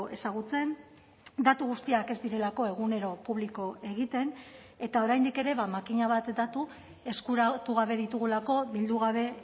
ezagutzen datu guztiak ez direlako egunero publiko egiten eta oraindik ere makina bat datu eskuratu gabe ditugulako bildu gabe